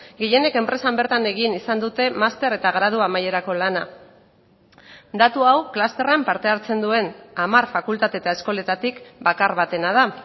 gehienek enpresan bertan egin izan dute master eta gradu amaierako lana datu hau klusterran parte hartzen duen hamar fakultate eta eskoletatik bakar batena da